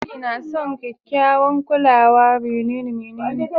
Injin na son kekyawan kulawa